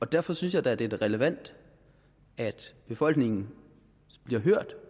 derfor synes jeg da at det er relevant at befolkningen bliver hørt